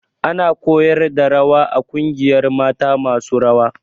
Ana koyar da rawa a ƙungiyar mata masu rawa